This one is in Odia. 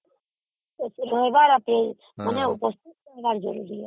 ଏଠି ରହିବାର ଅଛି ଉପସ୍ଥିତ ରହିବାର ଅଛି